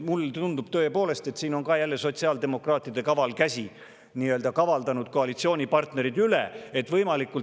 Mulle tõepoolest tundub, et jälle on sotsiaaldemokraatide kaval käsi koalitsioonipartnerid üle kavaldanud.